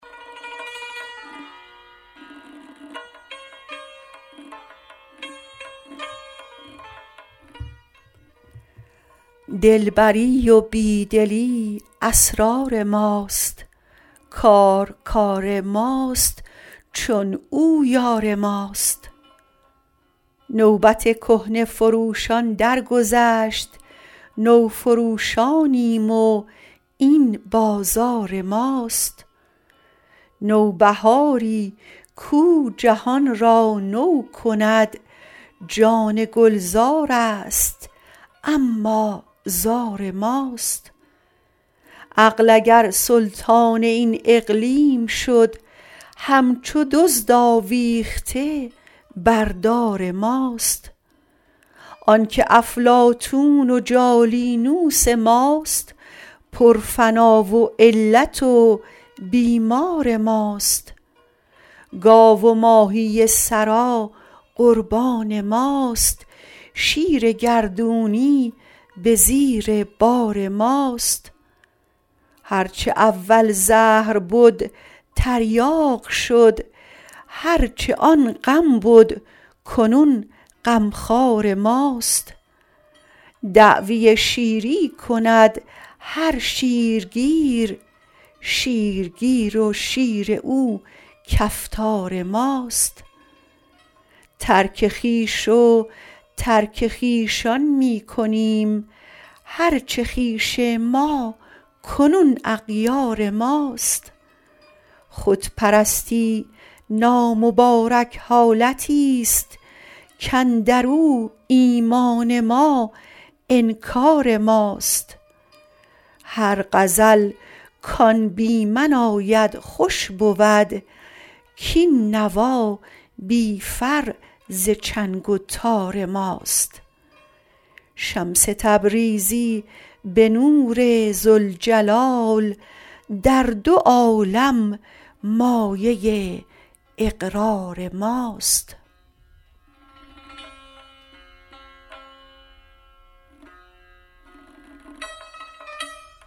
دلبری و بی دلی اسرار ماست کار کار ماست چون او یار ماست نوبت کهنه فروشان درگذشت نوفروشانیم و این بازار ماست نوبهاری کو جهان را نو کند جان گلزارست اما زار ماست عقل اگر سلطان این اقلیم شد همچو دزد آویخته بر دار ماست آنک افلاطون و جالینوس ماست پرفنا و علت و بیمار ماست گاو و ماهی ثری قربان ماست شیر گردونی به زیر بار ماست هر چه اول زهر بد تریاق شد هر چه آن غم بد کنون غمخوار ماست دعوی شیری کند هر شیرگیر شیرگیر و شیر او کفتار ماست ترک خویش و ترک خویشان می کنیم هر چه خویش ما کنون اغیار ماست خودپرستی نامبارک حالتی ست کاندر او ایمان ما انکار ماست هر غزل کان بی من آید خوش بود کاین نوا بی فر ز چنگ و تار ماست شمس تبریزی به نور ذوالجلال در دو عالم مایه اقرار ماست